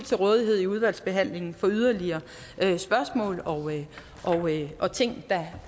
til rådighed i udvalgsbehandlingen for yderligere spørgsmål og ting der